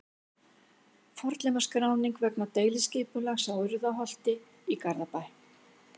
Fornleifaskráning vegna deiliskipulags á Urriðaholti í Garðabæ.